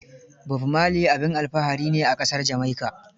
Bob Marley abin alfahari ne a ƙasar Jamaica.